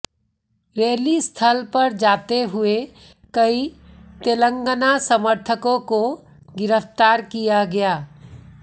rally स्थल पर जाते हुए कई तेलंगाना समर्थकों को गिरफ्तार किया गया